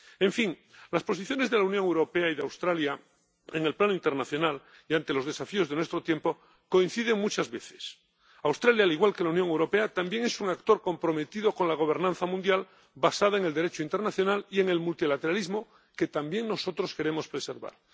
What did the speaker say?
En fin, las posiciones de la Unión Europea y de Australia, en el plano internacional y ante los desafíos de nuestro tiempo, coinciden muchas veces. Australia, al igual que la Unión Europea, también es un actor comprometido con la gobernanza mundial basada en el Derecho internacional y en el multilateralismo, que también nosotros queremos preservar.